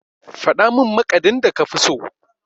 Faɗa min maƙadin da kafi so?